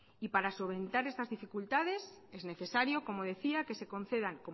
y para solventar estas dificultades es necesario como decía que se concedan